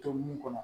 To nun kɔnɔ